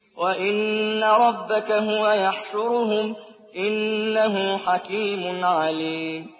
وَإِنَّ رَبَّكَ هُوَ يَحْشُرُهُمْ ۚ إِنَّهُ حَكِيمٌ عَلِيمٌ